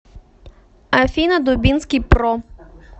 афина дубинский про